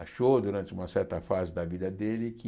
Achou durante uma certa fase da vida dele que